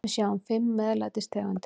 Við sjáum fimm MEÐLÆTIS tegundir.